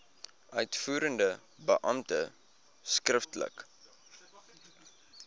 uitvoerende beampte skriftelik